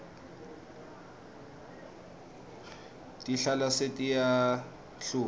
tihlahla setiyahluma